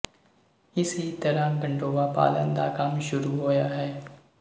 ਇਸੇ ਤਰ੍ਹਾਂ ਗੰਡੋਆ ਪਾਲਣ ਦਾ ਕੰਮ ਸ਼ੁਰੂ ਹੋਇਆ ਹੈ